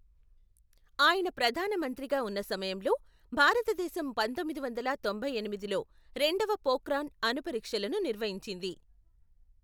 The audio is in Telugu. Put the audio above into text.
ఆయన ప్రధానమంత్రిగా ఉన్న సమయంలో, భారతదేశం పంతొమ్మిది వందల తొంభై ఎనిమిదిలో రెండవ పోఖ్రాన్ అణు పరీక్షలను నిర్వహించింది.